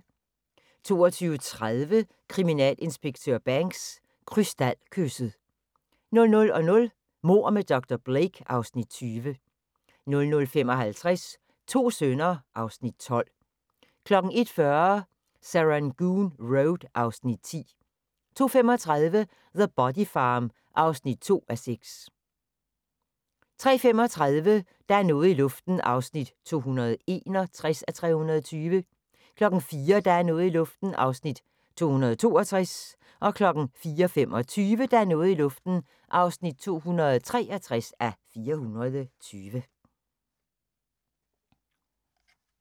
22:30: Kriminalinspektør Banks: Krystalkysset 00:00: Mord med dr. Blake (Afs. 20) 00:55: To sønner (Afs. 12) 01:40: Serangoon Road (Afs. 10) 02:35: The Body Farm (3:6) 03:35: Der er noget i luften (261:320) 04:00: Der er noget i luften (262:320) 04:25: Der er noget i luften (263:320)